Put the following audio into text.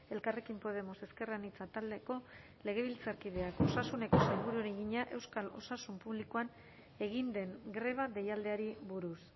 elkarrekin podemos ezker anitza taldeko legebiltzarkideak osasuneko sailburuari egina euskal osasun publikoan egin den greba deialdiari buruz